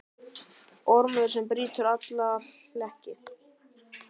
Ormur sem brýtur alla hlekki.